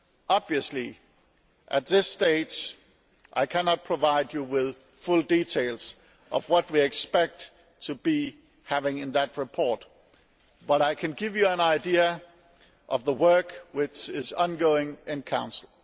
Obviously, at this stage I cannot provide you with full details of what we expect to have in that report, but I can give you an idea of the work which is ongoing in Council.